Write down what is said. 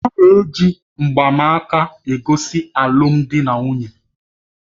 A na-eji mgbanaka egosi alụmdi na nwunye.